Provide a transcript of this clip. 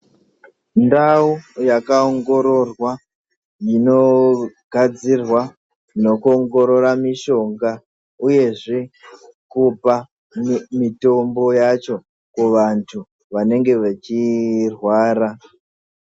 Ndau yakaongororwa inogadzirwa nekuongorora mishonga uyezve kupa mitombo yacho kuvantu vanenge vechirwara.